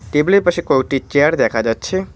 টেবিলের পাশে কয়েকটি চেয়ার দেখা যাচ্ছে।